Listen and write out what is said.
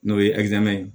N'o ye ye